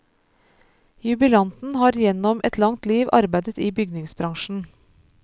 Jubilanten har gjennom et langt liv arbeidet i bygningsbransjen.